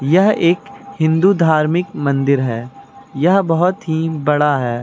यह एक हिंदू धार्मिक मंदिर है यह बहोत ही बड़ा है।